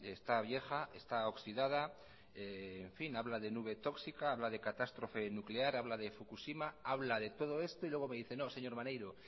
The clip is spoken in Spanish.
está vieja está oxidada en fin habla de nube tóxica habla de catástrofe nuclear habla de fukushima habla de todo esto y luego me dice no señor maneiro